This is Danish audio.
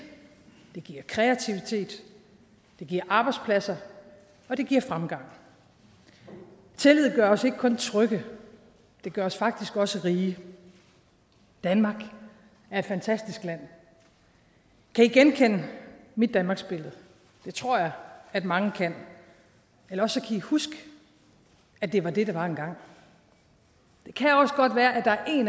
det giver kreativitet det giver arbejdspladser og det giver fremgang tillid gør os ikke kun trygge det gør os faktisk også rige danmark er et fantastisk land kan i genkende mit danmarksbillede det tror jeg mange kan eller også kan i huske at det var det det var engang det kan også godt være at der er en